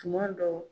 Tuma dɔw